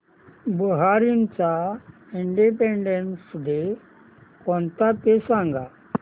बहारीनचा independence day कोणता ते सांगा